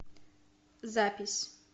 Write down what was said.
запись